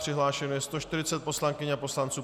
Přihlášeno je 140 poslankyň a poslanců.